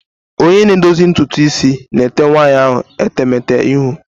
Onye na-edozi ntutu isi na-ete nwaanyị ahụ etemete ihu.